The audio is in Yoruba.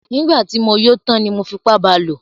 Nígbà tí mo yó tán ni mo fipá ba lò.